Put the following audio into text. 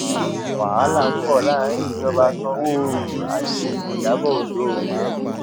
wàhálà ń bọ láàrin ìjọba sanwóoru àti ìyàbọ ọjọ o